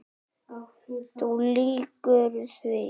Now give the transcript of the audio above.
Þú lýgur því